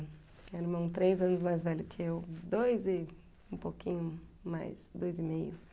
Meu irmão três anos mais velho que eu, dois e um pouquinho mais, dois e meio.